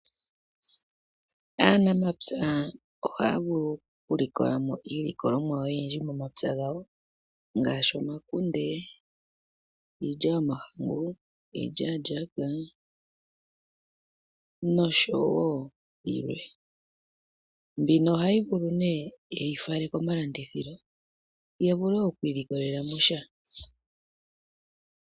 Aanamapya ohaya vulu okulikola mo iilikolomwa oyindji momapya gawo ngaashi omakunde, iilya yomahangu, iilyaalyaka nosho wo yilwe. Mbino ohayi vulu nee yeyi fale komalandithilo ya vule okwiilikolela mo sha.